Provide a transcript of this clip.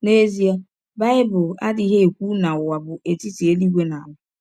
N’ezie, Bible adịghị ekwụ na ụwa bụ etiti elụigwe na ala